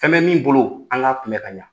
Fɛn bɛ min bolo o an ka kunbɛ ka ɲa